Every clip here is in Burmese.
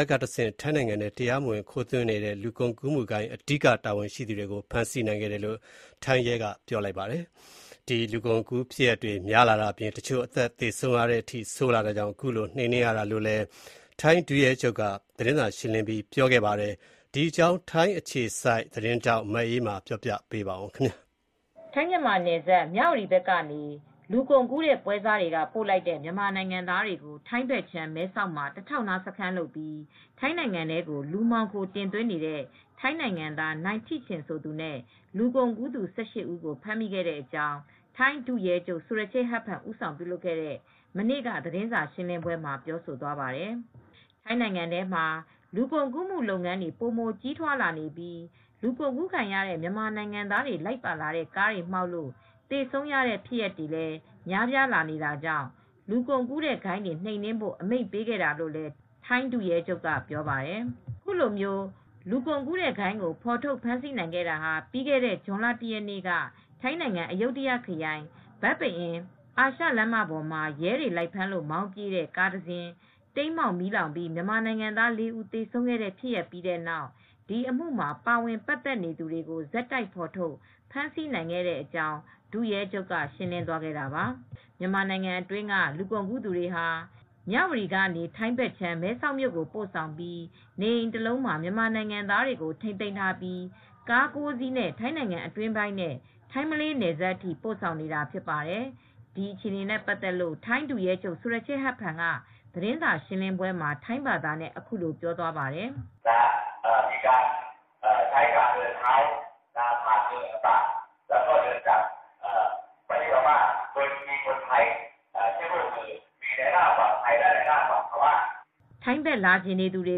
ပ်ကတဆင့် ထိုင်းနိုင်ငံထဲ တရားမဝင် ခိုးသွင်းနေတဲ့ လူကုန်ကူးမှုဂိုဏ်းက အဓိက တာဝန်ရှိသူတွေကို ဖမ်းဆီးနိုင်ခဲ့တယ်လို့ ထိုင်းရဲတပ်ဖွဲ့က ပြောပါတယ်။ မြန်မာနိုင်ငံသားတွေ လူကုန်ကူးခံရတဲ့ ဖြစ်ရပ်တွေ ပိုများလာတာအပြင် တချို့ အသက် သေဆုံးရတဲ့အထိ အခြေအနေတွေ ဆိုးလာနေတာကြောင့် ခုလို လိုက်လံ နှိမ်နင်းခဲ့တာဖြစ်တယ်လို့ သြဂုတ်လ ၂၃ ရက်နေ့က ပြုလုပ်တဲ့ သတင်းစာရှင်းလင်းပွဲမှာ ထိုင်း ဒုရဲချုပ်က ပြောဆိုသွားပါတယ်။ ဒီအကြောင်း ထိုင်းအခြေစိုက် သတင်းထောက် မအေးအေးမာက သတင်းပေးပို့ထားပါတယ်။ ထိုင်း−မြန်မာနယ်စပ် မြဝတီ ဘက်ကနေ လူကုန်ကူးတဲ့ ပွဲစားတွေက ပို့လိုက်တဲ့ မြန်မာနိုင်ငံသားတွေကို ထိုင်းဘက်ခြမ်း မဲဆောက်မှာ တထောက်နား စခန်းလုပ်ပြီး ထိုင်းနိုင်ငံထဲကို လူမှောင်ခို တင်သွင်းနေတဲ့ ထိုင်းနိုင်ငံသား နိုင်ထိချင် ဆိုသူနဲ့ လူကုန်ကူးသူ ၁၈ ဦးကို ဖမ်းမိခဲ့တဲ့အကြောင်း ထိုင်း ဒုရဲချုပ် ဆူရချေ့ ဟတ်ဖန် ဦးဆောင် ပြုလုပ်ခဲ့တဲ့ မနေ့က သတင်းစာရှင်းလင်းပွဲမှာ ပြောဆိုသွားပါတယ်။ ထိုင်းနိုင်ငံထဲမှာ လူကုန်ကူးမှု လုပ်ငန်းတွေ ပိုမို ကြီးထွားလာနေပြီး လူကုန်ကူးခံရတဲ့ မြန်မာနိုင်ငံသားတွေ လိုက်ပါလာတဲ့ ကားတွေ မှောက်လို့ သေဆုံးရတဲ့ဖြစ်ရပ်တွေလည်း များပြား လာနေတာကြောင့် လူကုန်ကူးဂိုဏ်းတွေ နှိမ်နင်းဖို့ အမိန့်ပေးခဲ့တာလို့လည်း ထိုင်း ဒုရဲချုပ်က ပြောပါတယ်။ အခုလို လူကုန်ကူးဂိုဏ်းကို ဖော်ထုတ် ဖမ်းဆီးနိုင်ခဲ့တာဟာ ပြီးခဲ့တဲ့ ဇွန်လ ၁ ရက်နေ့က ထိုင်းနိုင်ငံ အယုဒ္ဒယ ခရိုင်၊ ဘန်ပအင် အာရှလမ်းမ ပေါ်မှာ ရဲတွေ လိုက်ဖမ်းလို့ မောင်းပြေးတဲ့ ကားတစင်း တိမ်းမှောက် မီးလောင်ပြီး မြန်မာနိုင်ငံသား ၄ ဦး သေဆုံးခဲ့တဲ့ ဖြစ်ရပ်ပြီးတဲ့နောက် ဒီအမှုမှာ ပါဝင် ပတ်သက်နေသူတွေကို ဆက်တိုက် ဖော်ထုတ် ဖမ်းဆီးနိုင်ခဲ့တဲ့အကြောင်း ဒု ရဲချုပ်က ရှင်းလင်းသွာတာပါ။ မြန်မာနိုင်ငံအတွင်းက လူကုန်ကူးသူတွေဟာ မြဝတီကနေ ထိုင်းဘက်ခြမ်း မဲဆောက်မြို့ကို ပို့ဆောင်ပြီး နေအိမ်တလုံးမှာ မြန်မာနိုင်ငံသားတွေကို ထိန်းသိမ်းထားပြီး ကား ၉ စီးနဲ့ ထိုင်းနိုင်ငံ အတွင်းပိုင်းနဲ့ ထိုင်း−မလေး နယ်စပ်အထိ ပို့ဆောင်နေတာ ဖြစ်ပါတယ်။ ဒီအခြေအနေတွေနဲ့ ပတ်သက်လို့ ထိုင်း ဒုရဲချုပ် ဆူရချေ့ဟတ်ဖန် က သတင်းစာ ရှင်းလင်းပွဲမှာ ထိုင်းဘာသာနဲ့ အခုလို ပြောသွားပါတယ်။ “ထိုင်းဘက် လာချင်သူတွေ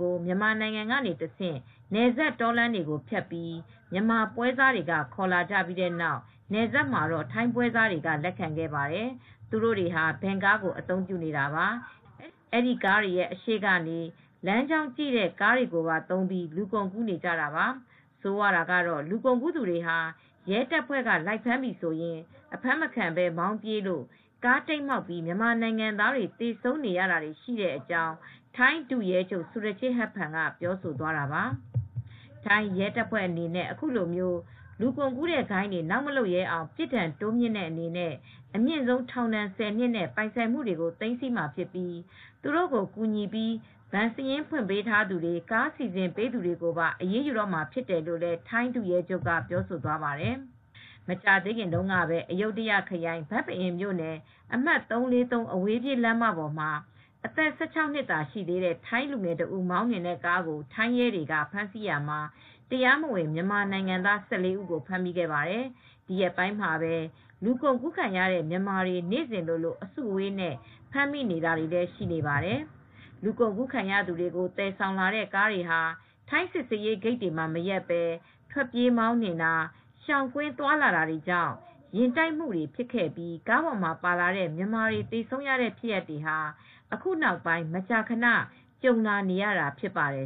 ကို မြန်မာနိုင်ငံကနေတဆင့် နယ်စပ် တောလမ်းတွေကို ဖြတ်ပြီး မြန်မာ ပွဲစားတွေကနေ ခေါ်လာကြပြီး နယ်စပ်မှာတော့ ထိုင်းပွဲစားတွေက လက်ခံခဲ့ပါတယ်။ သူတို့တွေဟာ ဗင်ကားကို အသုံးပြုနေတာပါ။ အဲဒီကားတွေ အရှေ့ကနေ လမ်းကြောင်းကြည့်တဲ့ အဖွဲ့ကိုပါ သုံးပြီး လူကုန်ကူးနေကြတာပါ။ ဆိုးရွားတာကတော့ လူကုန်ကူး သူတွေဟာ ရဲတပ်ဖွဲ့က လိုက်ဖမ်းပြီဆိုရင် အဖမ်းမခံဘဲ မောင်းပြေးလို့ ကားတိမ်းမှောက်ပြီး မြန်မာနိုင်ငံသားတွေ သေဆုံးနေရတာ ရှိတယ်" ထိုင်းရဲတပ်ဖွဲ့အနေနဲ့ အခုလို လူကုန်ကူးဂိုဏ်းတွေ နောက်မလုပ်ရဲအောင် ပြစ်ဒဏ် တိုးမြင့်တဲ့ အနေနဲ့ အမြင့်ဆုံး ထောင်ဒဏ် ၁၀ နှစ်နဲ့ ပိုင်ဆိုင်မှုတွေ သိမ်းမှာ ဖြစ်ပြီး သူတို့ကို ကူညီပြီး ဘဏ်စာရင်း ဖွင့်ပေးသူတွေ၊ ကားစီစဉ်ပေးသူတွေကိုပါ အရေးယူတေ့ာမှာ ဖြစ်တယ်လို့လည်း ထိုင်း ဒုရဲချုပ်က ပြောဆိုသွားပါတယ်။ မကြာသေးခင်တုန်းကပဲ အယုဒ္ဓယခရိုင် ဘန်ပအင်မြို့နယ် အမှတ် ၃၄၇ အဝေးပြေး လမ်းမပေါ်မှာ အသက် ၁၆ နှစ်သာ ရှိသေးတဲ့ ထိုင်းလူငယ်တဦး မောင်းနှင်တဲ့ကားကို ထိုင်းရဲတွေက ဖမ်းဆီးရာမှာ တရားမဝင် မြန်မာနိုင်ငံသား ၁၄ ဦးကို ဖမ်းမိခဲ့ပါတယ်။ ဒီရက်ပိုင်းမှာပဲ လူကုန်ကူးခံရတဲ့ မြန်မာတွေ နေ့စဉ်လိုလို အစုအဝေးနဲ့ ဖမ်းမိနေတာလည်း ရှိပါတယ်။ လူကုန်ကူးခံရသူတွေကို သယ်ဆောင်လာတဲ့ ကားတွေဟာ ထိုင်းစစ်ဆေးရေး ဂိတ်တွေမှာမရပ်ဘဲ ထွက်ပြေးမောင်းနှင်တာ၊ ရှောင်ကွင်း သွားလာတာတွေကြောင့် ယာဥ်တိုက်မှုတွေ ဖြစ်ပြီး ကားပေါ်မှာပါလာတဲ့ မြန်မာတွေ သေဆုံးရတဲ့ဖြစ်ရပ်တွေ အခုနောက်ပိုင်း မကြာခဏ ကြုံလာနေရတာ ဖြစ်ပါတယ်